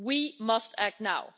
We must act now.